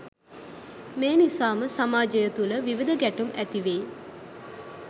මේ නිසාම සමාජය තුළ විවිධ ගැටුම් ඇති වෙයි.